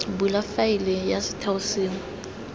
bula faele ya setheo sengwe